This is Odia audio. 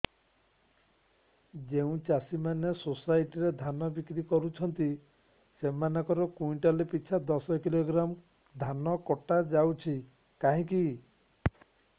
ଯେଉଁ ଚାଷୀ ମାନେ ସୋସାଇଟି ରେ ଧାନ ବିକ୍ରି କରୁଛନ୍ତି ସେମାନଙ୍କର କୁଇଣ୍ଟାଲ ପିଛା ଦଶ କିଲୋଗ୍ରାମ ଧାନ କଟା ଯାଉଛି କାହିଁକି